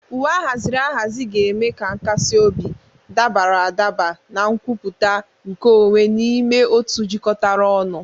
Uwe ahaziri ahazi ga-eme ka nkasi obi, dabara adaba na nkwupụta nke onwe n'ime otu jikọtara ọnụ.